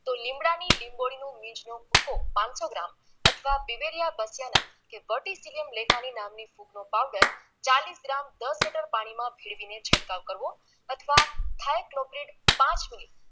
તો લીમડાની લિંબોળીની લીંચનો ભૂકો પાનસો ગ્રામ અથવા દિવેલિયા બચિયાના કે વર્ટીસિલિયમ ગ્લેકાનીન નામની ફૂગનો ચાલીસ ગ્રામ દસ લિટર પાણીમાં ભેળવીને છંટકાવ કરવો અથવા થાયક્લોપ્રિટ પાંચ મિલિ